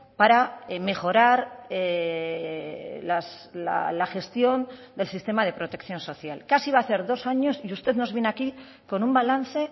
para mejorar la gestión del sistema de protección social casi va a hacer dos años y usted nos viene aquí con un balance